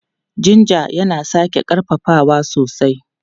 Jinja yana sake ƙarfafawa sosai.